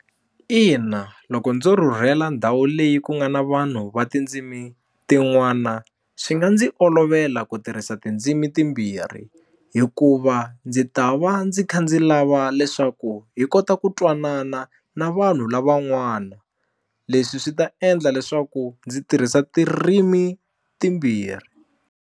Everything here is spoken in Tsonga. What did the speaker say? Ina loko ndzo rhurhela ndhawu leyi ku nga na vanhu va tindzimi tin'wana swi nga ndzi olovela ku tirhisa tindzimi timbirhi hikuva ndzi ta va ndzi kha ndzi lava leswaku hi kota ku twanana na vanhu lavan'wana leswi swi ta endla leswaku ndzi tirhisa tirimi timbirhi.